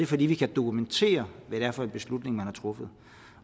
fordi vi kan dokumentere hvad det er for en beslutning man har truffet